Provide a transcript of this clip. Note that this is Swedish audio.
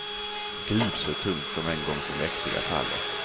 Gud, så tungt de en gång så mäktiga faller.